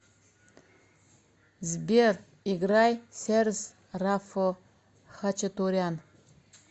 сбер играй серс рафо хачатурян